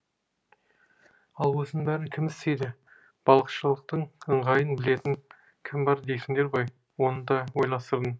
ал осының бәрін кім істейді балықшылықтың ыңғайын білетін кім бар дейсіңдер ғой оны да ойластырдым